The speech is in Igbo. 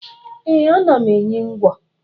Ee, ana m enyi ngwo